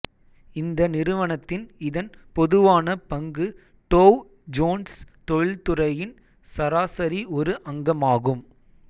இந்த நிறுவனத்தின் இதன் பொதுவான பங்கு டோவ் ஜோன்ஸ் தொழில்துறையின் சராசரி ஒரு அங்கமாகும்